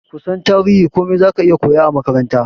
Kusan tarihin komai zaka iya koya a makaranta